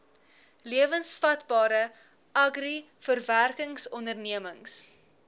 lewensvatbare agri verwerkingsondernemings